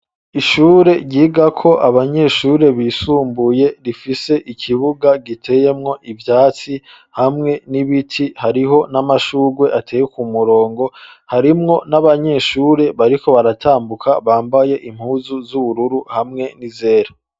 Ishure ryigako abanyeshure bisumbuye rifise ikibuga giteyemwo ivyatsi hamwe n'ibiti, hariho n'amashugwe ateye ku murongo harimwo n'abanyeshure bariko baratambuka bambaye impuzu z'ubururu hamwe n'izera.